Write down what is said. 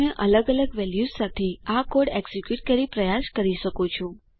તમે અલગ અલગ વેલ્યુઝ સાથે આ કોડ એક્ઝીક્યુટ કરી પ્રયાસ કરી શકો છો